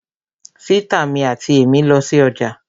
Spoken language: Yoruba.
Sìtá mi àti èmí lọ sí ọjà